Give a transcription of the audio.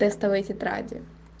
тестовые тетради